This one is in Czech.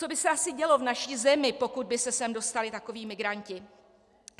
Co by se asi dělo v naší zemi, pokud by se sem dostali takoví migranti?